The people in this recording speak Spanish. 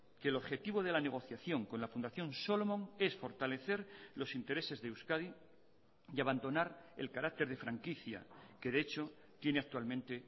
que el objetivo de la negociación con la fundación solomon es fortalecer los intereses de euskadi y abandonar el carácter de franquicia que de hecho tiene actualmente